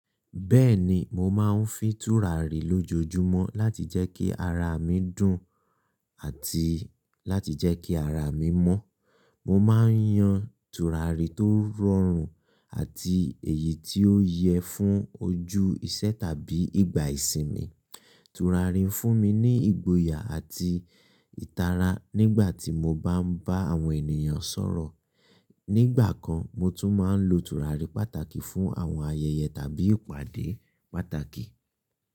Bẹ́ẹ̀ni, mo máa ń fi tùràrí lójoojúmọ́ láti jẹ́ kí ara mi dùn àti láti jẹ́ kí ara mi mọ́. Mo máa ń yan tùràrí tó rọrùn àti èyí tí ó yẹ fún ojú ìṣẹ́ tàbí ìgbà ìsinmi. Tùràrí ń fún mi ní ìgboyà àti ìtara nígbà tí mo bá ń bá àwọn ènìyàn sọ̀rọ̀. Nígbà kan, mo tún máa ń lo tùràrí pàtàkì fún àwọn ayẹyẹ tàbí ìpàdé pàtàkì.